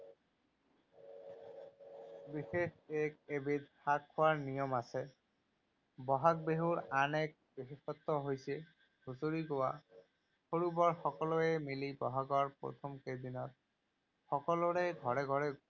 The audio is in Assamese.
বিশেষ এবিধ শাক খোৱাৰ নিয়ম আছে। বহাগ বিহুৰ আন এক বিশেষত্ব হৈছে, হুঁচৰি গোৱা। সৰু বৰ সকলোৱে মিলি বহাগৰ প্ৰথম কেইদিনা সকলোৰে ঘৰে ঘৰে গৈ